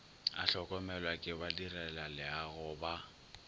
a hlokomelwa ke badirelaleago ba